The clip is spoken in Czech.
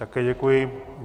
Také děkuji.